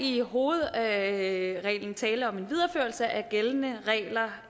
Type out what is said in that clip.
i hovedsagen tale om en videreførelse af gældende regler